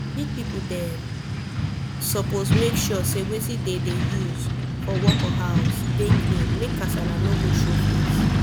big people dem suppose make sure say wetin dem dey use for work or house dey clean make kasala no go show face